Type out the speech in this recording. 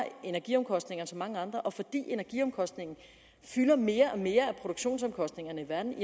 energiomkostninger end så mange andre og fordi energiomkostningen fylder mere og mere af produktionsomkostningerne i verden